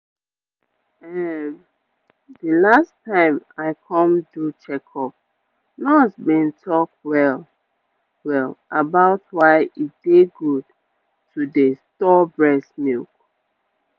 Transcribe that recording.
ehm the last time i come do checkup nurse been talk well-well about why e dey good to dey store breast milk